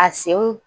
A senw